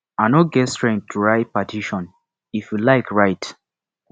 i no get strength to write petition if you like write